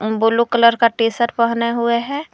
Blue colour का T shirt पहने हुए हैं।